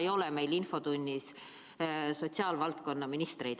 sest täna ei ole meil infotunnis sotsiaalvaldkonna ministreid.